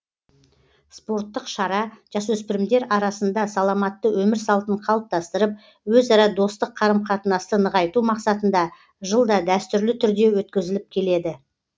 спорттық шара жасөспірімдер арасында саламатты өмір салтын қалыптастырып өзара достық қарым қатынасты нығайту мақсатында жылда дәстүрлі түрде өткізіліп келеді